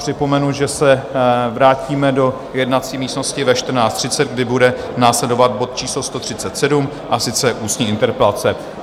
Připomenu, že se vrátíme do jednací místnosti ve 14.30, kdy bude následovat bod číslo 137, a sice ústní interpelace.